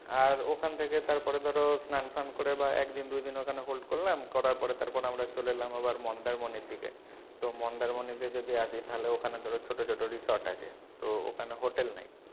আর ওখান থেকে তারপরে ধরো স্নান ফান করে বা এক দিন বা দুই দিন ওখানে hold করলাম করার পরে তারপরে আমরা চলে এলাম আবার মন্দারমনির দিকে তো মন্দারমনি তে যদি আসি তাহলে ওখানে ধরো ছোটো ছোটো resort আছে তো ওখানে hotel নেই,